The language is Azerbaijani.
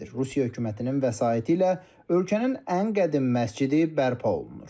Rusiya hökumətinin vəsaiti ilə ölkənin ən qədim məscidi bərpa olunur.